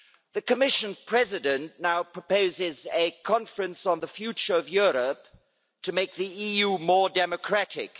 The Commission president now proposes a conference on the future of Europe to make the EU more democratic.